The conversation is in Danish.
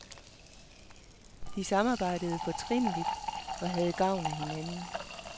De samarbejdede fortrinligt og havde gavn af hinanden.